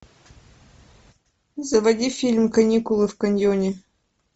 заводи фильм каникулы в каньоне